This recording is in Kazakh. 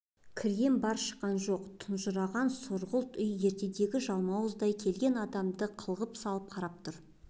кірген бар шыққан жоқ тұнжыраған сұрғылт үй ертегідегі жалмауыздай келген адамды қылғып салып қарап тұр